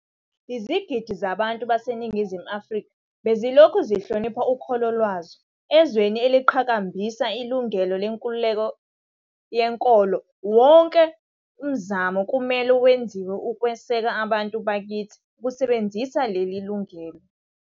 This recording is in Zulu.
Izigidi zabantu baseNingizimu Afrika bezilokhu zihlonipha ukholo lwazo. Ezweni eliqhakambisa ilungelo lenkululeko yenkolo, wonke umzamo kumele wenziwe ukweseka abantu bakithi ukusebenzisa leli lungelo.